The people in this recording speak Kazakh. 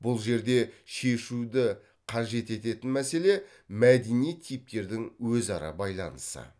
бұл жерде шешуді қажет ететін мәселе мәдени типтердің өзара байланысы